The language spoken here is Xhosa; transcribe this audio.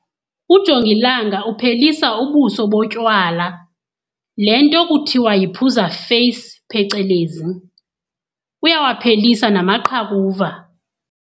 Ujongilanga uphelisa ubuso botywala, le nto kuthiwa yiphuza feyisi, phecelezi. Uyawaphelisa namaqhakuva.